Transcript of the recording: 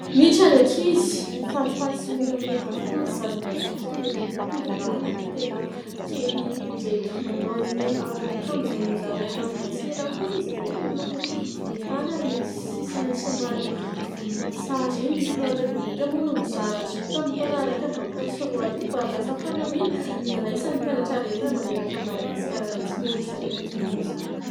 Miditra ny ankizy. Falifaly sy miramirana avokoa ny zaza mazoto toa ireto tovolohy telo kely ireto. Manao aron'ankajo izay nozaraina vao tsy ela akory izy ireo. Ilay miloko volotany ary misy sisiny somary volom-boasary iny. Ny filohan'ny repoblika moa no nizara azy io tamin'ny taona 2021 ary lasa fanamina hiraisan'ny mpianatra rehetra manerana an'i madagasikara mihintsy moa izy ireny amin'izao fotoan izao.